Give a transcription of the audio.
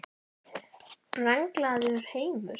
Brenglaður heimur?